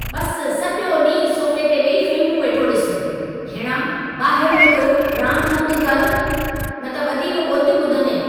बस सॼो ॾींहुं सोफ़े ते वेही फ़िल्मू वेठो ॾिसु! भेणा, ॿाहिरु निकिरी रांदि-रूंदि कर, न त वधीक ॿोलितियूं ॿुधंदें।